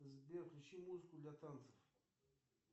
сбер включи музыку для танцев